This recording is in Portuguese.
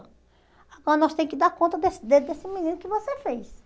Agora nós tem que dar conta desse dedo desse menino que você fez.